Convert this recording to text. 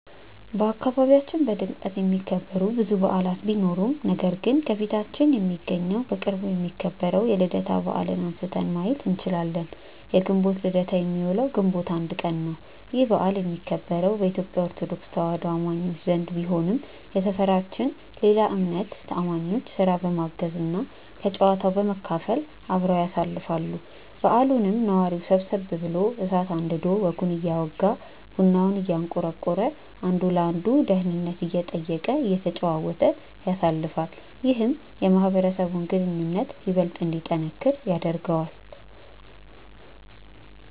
በአካባቢያችን በድምቀት የሚከበሩ ብዙ በዓላት ቢኖሩም ነገር ግን ከፊታችን የሚገኘው በቅርቡ የሚከበረው የልደታ በዓልን አንስተን ማየት እንችላለን። የግንቦት ልደታ የሚውለው ግንቦት 1 ቀን ነው። ይህ በዓል የሚከበረው በኢትዮጲያ ኦርቶዶክስ ተዋህዶ አማኞች ዘንድ ቢሆንም የሰፈራችን ሌላ እምነት አማኞችም ስራ በማገዝ እና ከጨዋታው በመካፈል አብረው ያሳልፋሉ። በዓሉንም ነዋሪው ሰብሰብ ብሎ እሳት አንድዶ ወጉን እያወጋ፤ ቡናውን እያንቆረቆረ፤ አንዱ የአንዱን ደህንነት እየጠየቀ፤ እየተጨዋወተ ያሳልፋል። ይህም የማህበረሰቡን ግንኙነት ይበልጥ እንዲጠነክር ያደርገዋል።